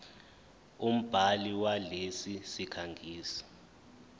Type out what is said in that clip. umbhali walesi sikhangisi